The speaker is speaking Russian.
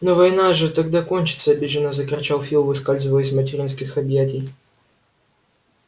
но война же тогда кончится обиженно закричал фил выскальзывая из материнских объятий